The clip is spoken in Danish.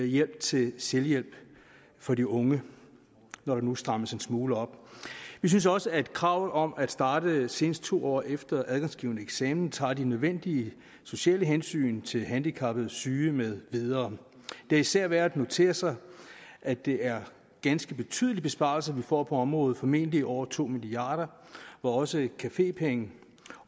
hjælp til selvhjælp for de unge når der nu strammes en smule op vi synes også at kravet om at starte senest to år efter adgangsgivende eksamen tager de nødvendige sociale hensyn til handicappede syge med videre det er især værd at notere sig at det er ganske betydelige besparelser vi får på området formentlig over to milliard kr hvor også cafepenge